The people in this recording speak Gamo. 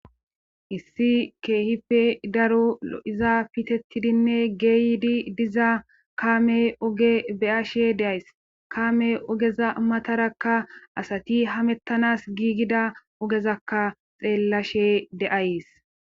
issi keehippe daro lo'iza pitettidinne geeydi diza kaame oge beyashe de'ays kaame ogeza matarakka asati hamettanas giigida ogezakka xeellashe de'ays